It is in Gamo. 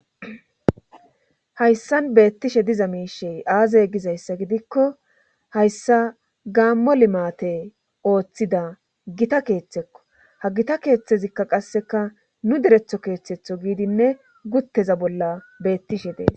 Hayssan beettishe diza miishey aazey gizayssa gidikko hayssa gaammo limate ooththida gita keeththekko ha gita keeththezikka qasseka nu deretho keeththetho giidinne gutteza bolla beettishe dees